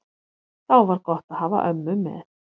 Þá var gott að hafa ömmu með.